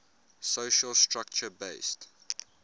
social structure based